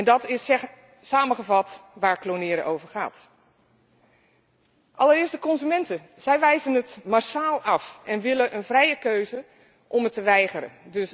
Dat is samengevat waar klonen over gaat. Allereerst de consumenten. Zij wijzen het massaal af en willen een vrije keuze om het te weigeren.